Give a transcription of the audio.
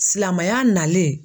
Silamɛya nalen.